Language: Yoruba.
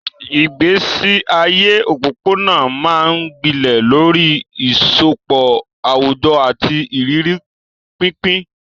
Ìgbésí ayé òpópónà máa ń gbilẹ̀ lórí ìsopọ̀ àwùjọ àti ìrírí pínpín.